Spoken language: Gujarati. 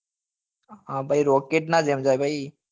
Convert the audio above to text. હા ભાઈ rocket નાં જેમ છે ભાઈ